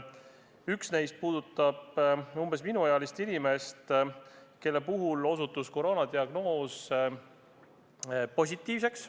Üks neist puudutab umbes minuealist inimest, kelle puhul osutus koroonadiagnoos positiivseks.